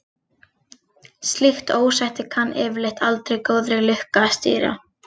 Slíkt ósætti kann yfirleitt aldrei góðri lukka að stýra.